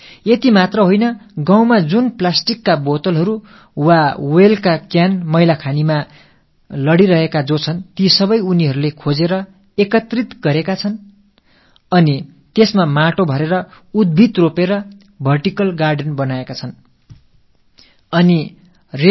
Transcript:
அது மட்டுமல்ல கிராமத்தின் குப்பைக் கூளங்களில் கிடக்கும் பிளாஸ்டிக் பாட்டில்கள் அல்லது எண்ணை பிளாஸ்டிக் டப்பாக்கள் ஆகியவற்றை சேகரித்து அவற்றில் மண்ணை இட்டு நிரப்பி செடிகளை நட்டு வெர்டிக்கல் கார்டன் எனும் அடுக்குத் தோட்டத்தை ஏற்படுத்தியிருந்தார்கள்